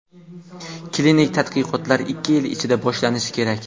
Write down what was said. Klinik tadqiqotlar ikki yil ichida boshlanishi kerak.